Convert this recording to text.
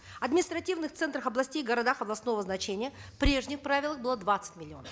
в административных центрах областей и городах областного значения в прежних правилах было двадцать миллионов